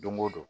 Don go don